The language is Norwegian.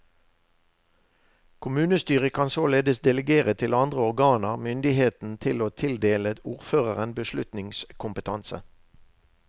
Kommunestyret kan således delegere til andre organer myndigheten til å tildele ordføreren beslutningskompetanse.